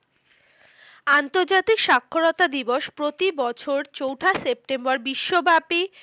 আন্তর্জাতিক স্বাক্ষরতা দিবস প্রতিবছর চৌঠা সেপ্টেম্বর বিশ্বব্যাপী